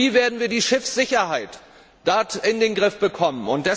Und wie werden wir die Schiffssicherheit in den Griff bekommen?